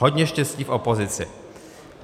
Hodně štěstí v opozici."